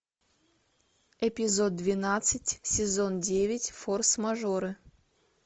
эпизод двенадцать сезон девять форс мажоры